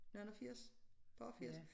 Nogen og 80 par og 80